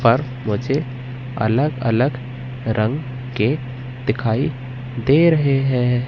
पर मुझे अलग अलग रंग के दिखाई दे रहे हैं।